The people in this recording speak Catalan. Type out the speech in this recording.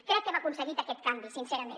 crec que hem aconseguit aquest canvi sincerament